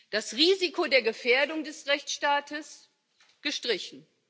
Das Risiko der Gefährdung des Rechtsstaates gestrichen.